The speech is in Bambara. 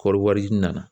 Kɔɔri wari nana